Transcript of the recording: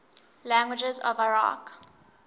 languages of iraq